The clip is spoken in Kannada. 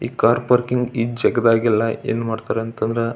ಈ ಕಾರ್ ಪಾರ್ಕಿಂಗ್ ಈ ಜಗದಾಗೆಲ್ಲಾ ಏನ್ ಮಾಡತ್ತಅಂತ ಅಂದ್ರೆ --